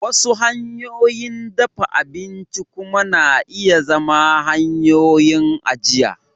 Wasu hanyoyin dafa abinci kuma na iya zama hanyoyin ajiya